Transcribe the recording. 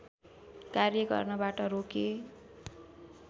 कार्य गर्नबाट रोके